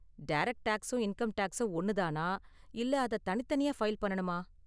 Direct டேக்ஸும் income டேக்ஸும் ஒன்னு தானா இல்ல அத தனித்தனியா ஃபைல் பண்ணனுமா?